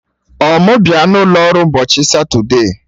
Ọ mụ bịa n'ụlo ọrụ n'ụbọchị Satode?